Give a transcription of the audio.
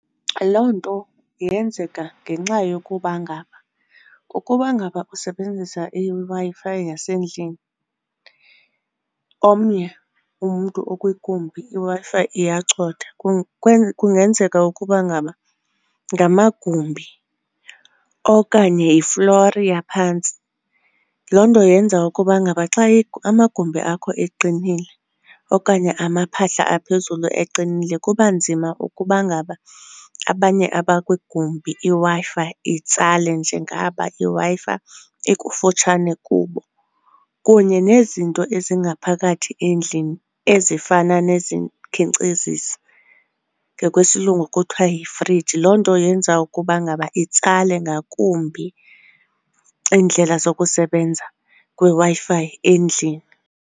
Loo nto yenzeka ngenxa yokuba ngaba ukuba ngaba usebenzisa iWi-Fi yasendlini omnye umntu okwigumbi iWi-Fi iyacotha kungenzeka ukuba ngaba ngamagumbi okanye yiflori yaphantsi. Loo nto yenza ukuba ngaba xa amagumbi akho eqinileyo okanye amaphahla aphezulu eqinile kuba nzima ukuba ngaba abanye abakwigumbi iWi-Fi itsale njengaba iWi-Fi ikufutshane kubo. Kunye nezinto ezingaphakathi endlini ezifana nezikhenkcezisi, ngokwesilungu kuthiwa yifriji, loo nto yenza ukuba ngaba itsale ngakumbi iindlela zokusebenza kweWi-Fi endlini.